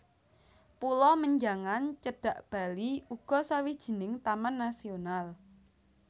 Pulo Menjangan cedhak Bali uga sawijining taman nasional